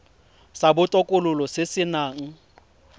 sa botokololo se se nang